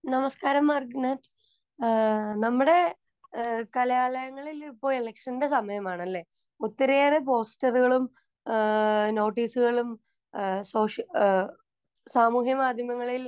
നമസ്കാരം മാർഗററ്റെ നമ്മുടെ കലാലയങ്ങളിൽ ഇപ്പോൾ ഇലെക്ഷൻറെ സമയമാണ് അല്ലെ ഒത്തിരിയേറെ പോസ്റ്ററുകളും നോട്ടീസുകളും സാമൂഹ്യ മാധ്യമങ്ങളിൽ